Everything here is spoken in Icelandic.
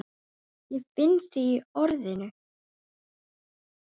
Ég finn þig í orðinu.